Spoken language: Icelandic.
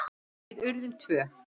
Við urðum tvö.